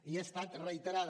i ha estat reiterada